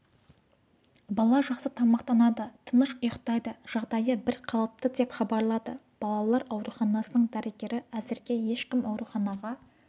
бала жақсы тамақтанады тыныш ұйықтайды жағдайы бір қалыпты деп хабарлады балалар ауруханасының дәрігері әзірге ешкім ауруханаға